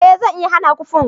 eh zan iya hana ku punk